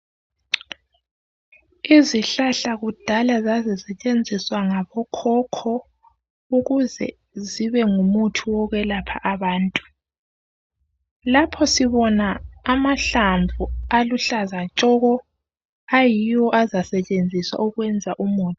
Izihlahla kudala zazisetshenziswa ngabokhokho ukuze zibe ngumuthi okwelapha abantu. Lapho sibona amahlamvu aluhlaza tshoko ayiwo azasetshenziswa ukwenza umuthi.